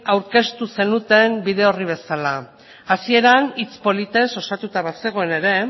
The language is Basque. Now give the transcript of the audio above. aurkeztu zenuten bide orri bezala hasieran hitz politez osatuta bazegoen ere